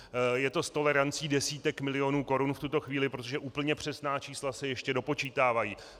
Je to s tolerancí desítek milionů korun v tuto chvíli, protože úplně přesná čísla se ještě dopočítávají.